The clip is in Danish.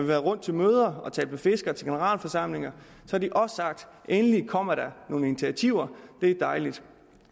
været rundt til møder og talt med fiskere til generalforsamlinger har de også sagt endelig kommer der nogle initiativer det er dejligt